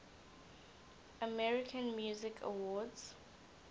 american music awards